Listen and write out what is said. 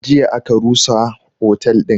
Jiya aka rusa otel din